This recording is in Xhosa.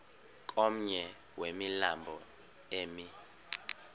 komnye wemilambo emi